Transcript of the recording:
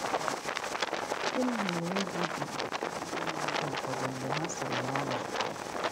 Gịnị mere egwu ji atụrụ ndị mmadụ ụfọdụ mgbe ha siri n'ụlọ pụọ?